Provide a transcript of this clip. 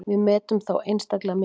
Við metum þá einstaklega mikils.